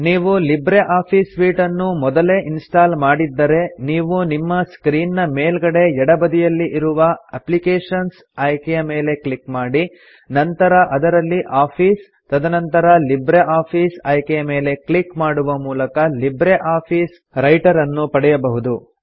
ನೀವು LibreOffice suite ಅನ್ನು ಮೊದಲೇ ಇನ್ಸ್ಟಾಲ್ ಮಾಡಿದ್ದರೆ ನೀವು ನಿಮ್ಮ ಸ್ಕ್ರೀನ್ ನ ಮೇಲ್ಗಡೆ ಎಡ ಬದಿಯಲ್ಲಿ ಇರುವ ಅಪ್ಲಿಕೇಶನ್ಸ್ ಆಯ್ಕೆಯ ಮೇಲೆ ಕ್ಲಿಕ್ ಮಾಡಿ ನಂತರ ಅದರಲ್ಲಿ ಆಫೀಸ್ ತದನಂತರ ಲಿಬ್ರಿಆಫಿಸ್ ಆಯ್ಕೆಯ ಮೇಲೆ ಕ್ಲಿಕ್ ಮಾಡುವ ಮೂಲಕ ಲಿಬ್ರೆ ಆಫೀಸ್ ರೈಟರ್ ಅನ್ನು ಪಡೆಯಬಹುದು